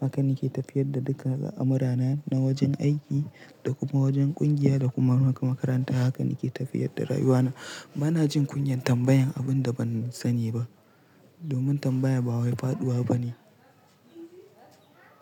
Haka nake tafiyar da duka amurana na wajen aiki da kuma wajen ƙungiya da kuma makaranta. Haka nake tafiyar da rayuwana. Bana jin kunyan tambayan abin da ban sani ba, domin tambaya ba wai faɗuwa bane.